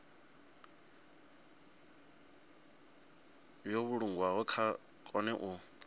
yo vhulungwaho vha kone u